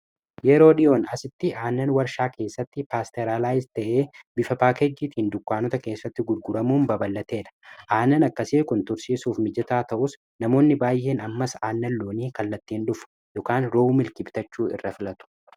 yeroo dhiyoon asitti aannan warshaa keessatti paasteraalaayis ta'ee bifa paakeejjiitiin dukkaanota keessatti gurguramuun babal'ateedha. aannan akkasii kun tursiisuuf mijataa ta'us namoonni baay'een ammaas aannan loonii kallattiin dhufu bitachuu irra filatu.